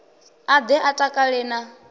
a ḓe a takale na